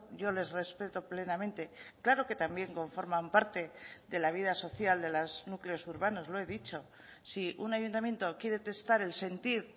yo les respeto plenamente claro que también conforman parte de la vida social de los núcleos urbanos lo he dicho si un ayuntamiento quiere testar el sentir